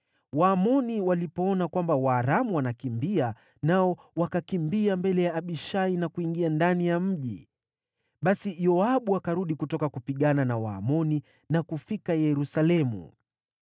Waamoni walipoona Waaramu wanakimbia, nao wakakimbia mbele ya Abishai na kuingia ndani ya mji. Basi Yoabu akarudi kutoka kupigana na Waamoni na kufika Yerusalemu.